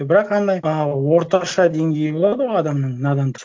бірақ андай а орташа деңгейі болады ғой адамның надандық